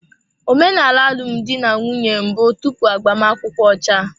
Omenala alụmdi na nwunye mbụ tupu agbamakwụkwọ ọcha.